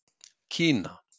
Kína